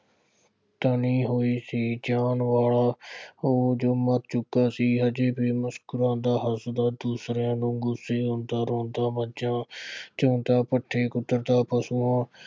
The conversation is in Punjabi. ਤਣੀ ਹੋਈ ਸੀ। ਉਹ ਜੋ ਮਰ ਚੁੱਕਾ ਸੀ। ਅਜੇ ਵੀ ਮੁਸਕਰਾਉਂਦਾ, ਹੱਸਦਾ, ਦੂਸਰੀਆਂ ਵਾਂਗੂ ਗੁੱਸੇ ਹੁੰਦਾ। ਰੌੰਦਾ, ਮੱਝਾਂ ਚੌਂਦਾ, ਪੱਠੇ ਕੁਤਰਦਾ, ਪਸ਼ੂਆ